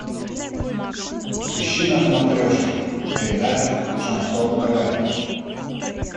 ищи на смотрешке передачу шансон тв